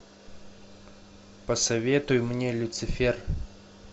посоветуй мне люцифер